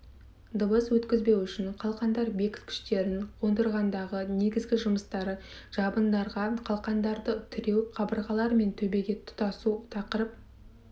дыбыс өткізбеу үшін қалқандар бекіткіштерін қондырғандағы негізгі жұмыстары жабындарға қалқандарды тіреу қабырғалар мен төбеге тұтасу тақырып